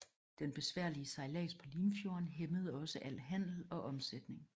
Den besværlige sejlads på Limfjorden hæmmede også al handel og omsætning